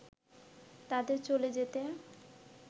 তাদের চলে যেতে